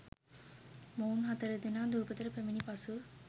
මොවුන් හතරදෙනා දූපතට පැමිණි පසු